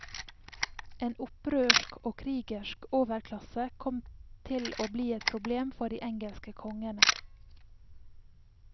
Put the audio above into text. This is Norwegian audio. En opprørsk og krigersk overklasse kom til å bli et problem for de engelske kongene.